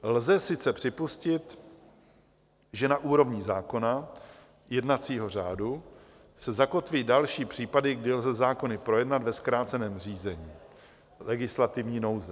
Lze sice připustit, že na úrovni zákona, jednacího řádu, se zakotví další případy, kdy lze zákony projednat ve zkráceném řízení - legislativní nouze.